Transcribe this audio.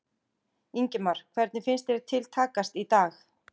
Ingimar: Hvernig finnst þér til takast í dag?